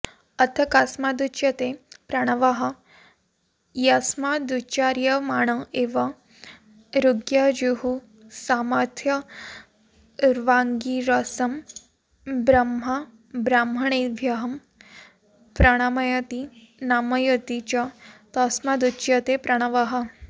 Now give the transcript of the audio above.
अथ कस्मादुच्यते प्रणवः यस्मादुच्चार्यमाण एव ऋग्यजुःसामाथर्वाङ्गिरसं ब्रह्म ब्राह्मणेभ्यः प्रणामयति नामयति च तस्मादुच्यते प्रणवः